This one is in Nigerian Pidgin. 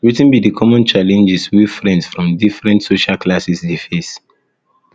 wetin be di common challenges wey friends from different social classes dey dey face